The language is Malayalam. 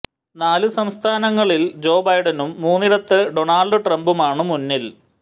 നാല് സംസ്ഥാനങ്ങളിൽ ജോ ബൈഡനും മൂന്നിടത്ത് ഡോണൾഡ് ട്രംപുമാണ് മുന്നിൽ